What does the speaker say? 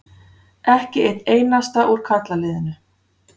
Ekki einn einasta úr karlaliðinu.